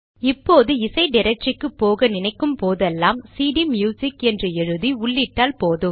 இப்போது இசை டிரக்டரிக்கு போக நினைக்கும் போதெல்லாம் சிடிம்யுசிக் என்று எழுதி உள்ளிட்டால் போதும்